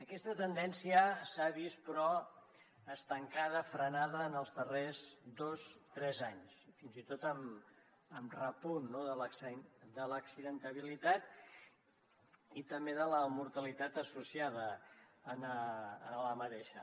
aquesta tendència s’ha vist però estancada frenada en els darrers dos tres anys i fins i tot amb repunt no de l’accidentalitat i també de la mortalitat associada a aquesta